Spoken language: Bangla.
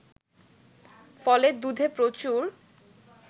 ফলে দুধে প্রচুর